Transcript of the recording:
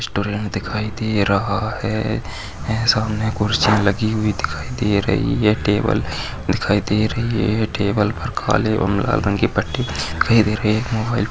restaurant दिखाई दे रहा है सामने कुर्सी लगी हुई दिखाई दे रही है टेबल दिखाई दे रही है टेबल पर काले और लाल रंग की पट्टी भी दिखाई दे रही है एक मोबाईल --